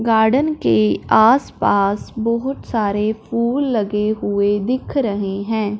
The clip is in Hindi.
गार्डन के आसपास बहुत सारे फूल लगे हुए दिख रहे हैं।